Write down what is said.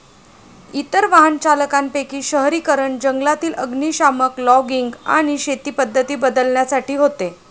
इतर वाहनचालकांपैकी शहरीकरण, जंगलातील अग्निशामक, लॉगिंग आणि शेती पद्धती बदलण्यासाठी होते.